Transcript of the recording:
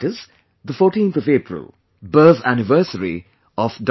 That is 14 April Birth anniversary of Dr